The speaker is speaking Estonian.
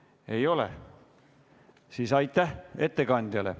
Kui ei ole, siis aitäh ettekandjale.